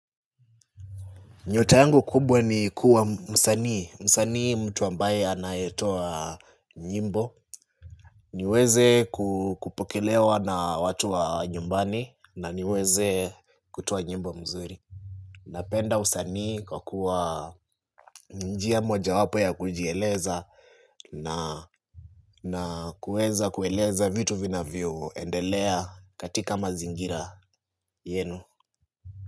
Nyota yangu kubwa ni kuwa msanii, msanii ni mtu ambaye anayetoa nyimbo niweze kupokelewa na watu wa nyumbani na niweze kutoa nyimbo mzuri Napenda usanii kwa kuwa ni njia moja wapo ya kujieleza na kuweza kueleza vitu vinavyo endelea katika mazingira yenu.